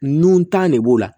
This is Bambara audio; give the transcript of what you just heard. Nun tan ne b'o la